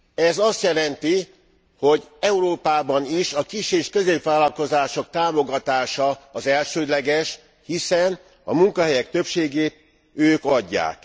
Ez azt jelenti, hogy Európában is a kis és középvállalkozások támogatása az elsődleges, hiszen a munkahelyek többségét ők adják.